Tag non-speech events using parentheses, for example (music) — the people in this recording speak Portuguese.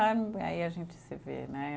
(unintelligible) Aí a gente se vê, né?